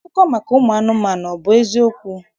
Akụkọ maka ụmụ anụmanụ, ọ bụ eziokwu?